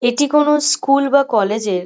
এটি কোন স্কুল বা কলেজ -এর --